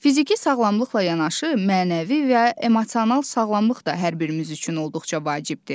Fiziki sağlamlıqla yanaşı mənəvi və emosional sağlamlıq da hər birimiz üçün olduqca vacibdir.